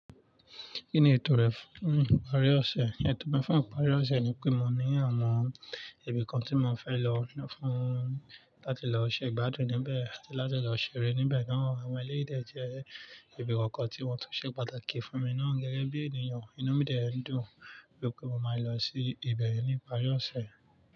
Kí ni ètò rẹ fún ìparí ọ̀sẹ̀? Ẹ̀tọ́ bẹ́fà ìparí ọ̀sẹ̀ ni pé mo ní àwọn ibì kan tí mò ń fẹ́ lọ fún láti lọ ṣe ìgbádùn níbẹ̀ àti láti lọ ṣeré níbẹ̀. Àwọn ẹlẹ́yìí dẹ jẹ́ ibi kọ̀ọ̀kan tí wọ́n tun ṣe pàtàkì fún mi náà. Gẹ́gẹ́ bí ènìyàn, inú mi dẹ ń dùn wípé mo máa lọ sí ibẹ̀ ní ìparí ọ̀sẹ̀.